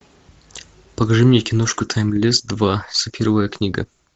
покажи мне киношку таймлесс два сапфировая книга